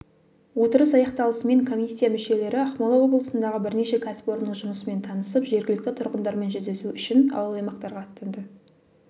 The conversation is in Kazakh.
отырыс аяқталысымен комиссия мүшелері ақмола облысындағы бірнеше кәсіпорынның жұмысымен танысып жергілікті тұрғындармен жүздесу үшін ауыл-аймақтарға аттанды